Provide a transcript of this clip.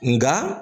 Nka